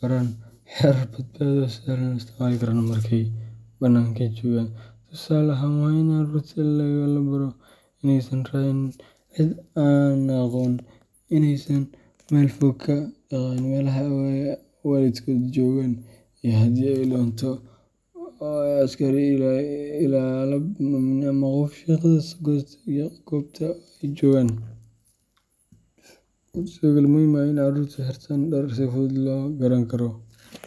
baraan xeerar badbaado oo sahlan oo ay isticmaali karaan marka ay banaanka joogaan. Tusaale ahaan, waa in carruurta la baraa inaysan raacin cid aanay aqoon, inaysan meel fog ka dhaqaaqin meelaha ay waalidkood joogaan, iyo in haddii ay lunto ay u tagto askari, ilaalo amni ama qof shaqaale ka ah goobta ay joogaan. Waxaa sidoo kale muhiim ah in carruurtu xirtaan dhar si fudud loo garan karo.